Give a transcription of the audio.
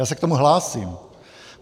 Já se k tomu hlásím.